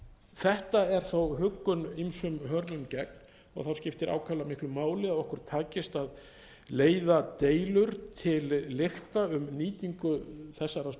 þetta er þó huggun ýmsum hörmum gegn það skiptir ákaflega miklu máli að okkur takist að leiða deilur til lykta um nýtingu þessara